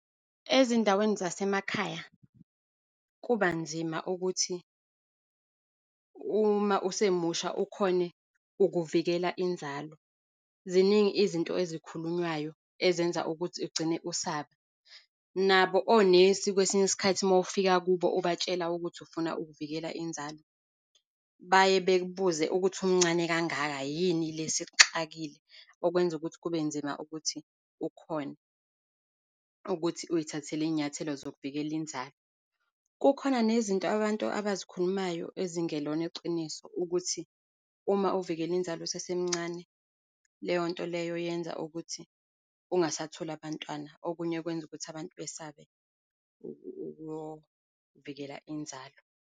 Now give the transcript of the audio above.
Ezindaweni zasemakhaya, kuba nzima ukuthi uma usemusha ukhone ukuvikela inzalo. Ziningi izinto ezikhulunywayo ezenza ukuthi ugcine usaba. Nabo onesi, kwesinye isikhathi uma ufika kubo, ubatshela ukuthi ufuna ukuvikela inzalo, baye bakubuze ukuthi, umncane kangaka yini le esikuxakile, okwenza ukuthi kube nzima ukuthi ukhone ukuthi uyithathele iy'nyathelo zokuvikela inzalo. Kukhona nezinto abantu abazikhulumayo ezingelona iqiniso, ukuthi uma uvikele inzalo usesemncane, leyo nto leyo yenza ukuthi ungasatholi abantwana. Okunye kwenza ukuthi abantu basabe ukuyovikela inzalo.